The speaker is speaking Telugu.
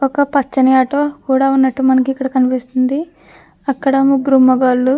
ఒక పచ్చని ఆటో కూడా ఉన్నట్టు మనకి ఇక్కడ కనిపిస్తుంది. అక్కడ ముగ్గురు మొగోళ్ళు --